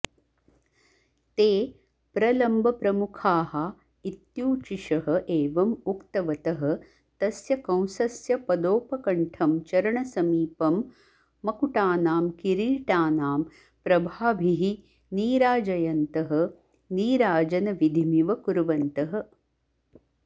ते प्रलम्बप्रमुखाः इत्यूचिषः एवम् उक्तवतः तस्य कंसस्य पदोपकण्ठं चरणसमीपं मकुटानां किरीटानां प्रभाभिः नीराजयन्तः नीराजनविधिमिव कुर्वन्तः